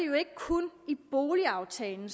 jo ikke kun i boligaftalen